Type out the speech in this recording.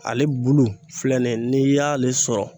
Ale bulu filɛ nin ye n'i y'ale sɔrɔ.